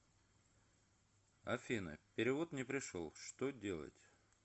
афина перевод не пришел что делать